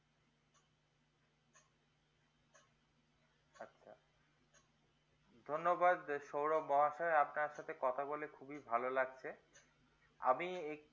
ধন্যবাদ sourab mahasai আপনার সাথে কথা বলে খুবই ভালো লাগছে আমি